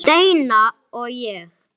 Steina og ég.